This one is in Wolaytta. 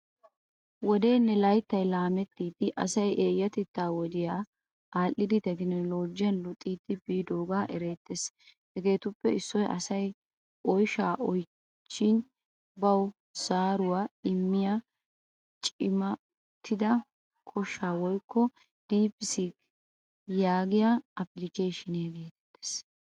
Wodeene layttay laamettidi asay eyatetta wodiyaa adhdhidi tekinologiyan luxxidi biidoga eretees. Hageetuppe issoy asay oyshshaa oychchin bawu zaaruwaa immiyaa cimmatida koshsha woyko ''deep seek '' yaagiyaa applikesheniyaa geetetees.